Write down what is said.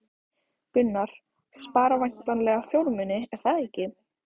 Gunnar: Spara væntanlega fjármuni, er það ekki?